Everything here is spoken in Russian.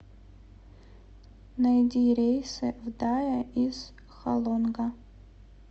найди рейсы в дае из халонга